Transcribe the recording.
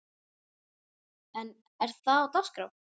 En er það á dagskrá?